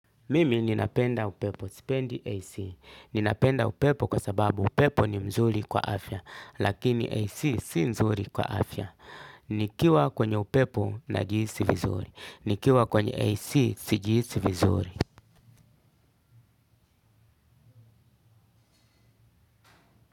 Mimi ninapenda upepo. Sipendi AC. Ninapenda upepo kwa sababu upepo ni mzuri kwa afya. Lakini AC si nzuri kwa afya. Nikiwa kwenye upepo najihisi vizuri. Nikiwa kwenye AC sijihisi vizuri.